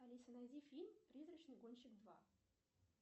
алиса найди фильм призрачный гонщик два